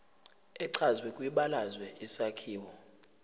echazwe kwibalazwe isakhiwo